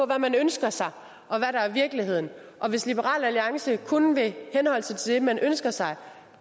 hvad man ønsker sig og hvad der i virkeligheden hvis liberal alliance kun vil henholde sig til det man ønsker sig